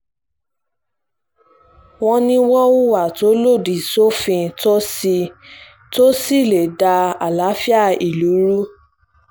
wọ́n ní wọ́n hùwà tó lòdì sófin tó sì tó sì lè da àlàáfíà ìlú rú